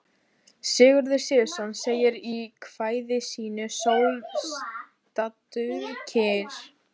Sigurður Sigurðsson segir í kvæði sínu: Sól, stattu kyrr.